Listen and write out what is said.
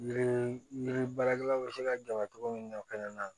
Yiri yiri baarakɛlaw bɛ se ka gɛrɛ cogo min na o fɛnɛ na